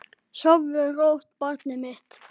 Sofðu rótt barnið mitt.